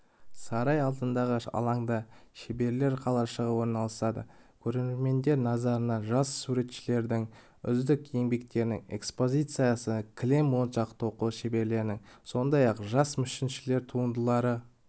сарай алдындағы алаңда шеберлер қалашығы орналасады көрермендер назарына жас суретшілердің үздік еңбектерінің экспозициясы кілем моншақ тоқу шеберлерінің сондай-ақ жас мүсіншілердің туындылары